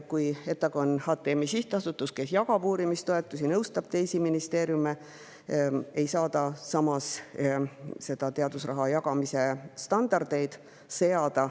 Kuigi ETAG on HTM-i sihtasutus, kes jagab uurimistoetusi ja nõustab teisi ministeeriume, ei saa ta samas seada teadusraha jagamise standardeid.